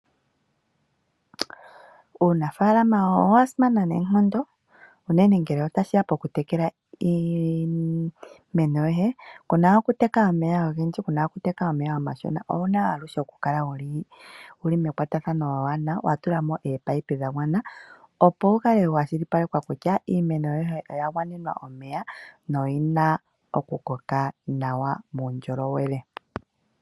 Uunafaalama owa simana noonkondo unene ngele itashiya oku tekela iimeno yoye. Kuna okku teka omeya ogendji kuna oku teka omeya omashona . Owuna ashike okukala wuli mekwatathano watulamo eepayipi dha gwana wukale washili paleka kutya iimeno yoye oya gwanenwa omeya noyina okukoka nawa muundjolo wele.